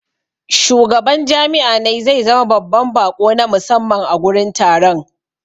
Shugaban jami'a ne zai zama babban baƙo na musamman a gurin taron.